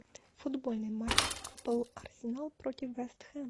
футбольный матч апл арсенал против вест хэм